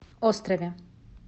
острове